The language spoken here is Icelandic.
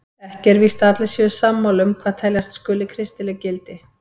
Ekki er víst að allir séu sammála um hvað teljast skuli kristileg gildi.